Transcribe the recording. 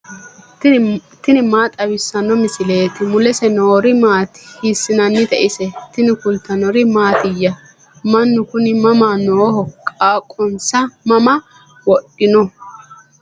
tini maa xawissanno misileeti ? mulese noori maati ? hiissinannite ise ? tini kultannori mattiya? Mannu kunni mama nooho? qaaqqonsa mama wodhinno?